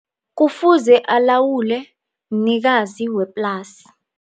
Kufuze alawule mnikazi weplasi.